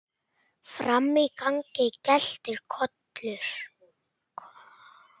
Frammi í gangi geltir Kolur.